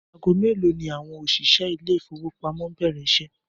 Aago mélòó ni àwo̩n òs̩ìs̩é̩ ilé ìfowópamó ń bè̩rè̩ is̩é̩?